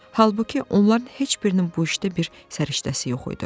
Halbuki onların heç birinin bu işdə bir səriştəsi yox idi.